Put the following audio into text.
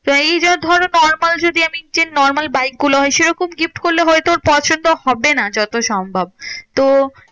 এই যে ধরো normal যদি আমি যে normal বাইকগুলো হয় সেরকম gift করলে হয়তো ওর পছন্দ হবে না যত সম্ভব। তো